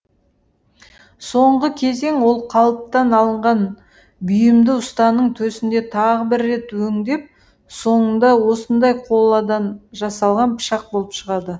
соңғы кезең ол қалыптан алынған бұйымды ұстаның төсінде тағы бір рет өңдеп соңында осындай қоладан жасалған пышақ болып шығады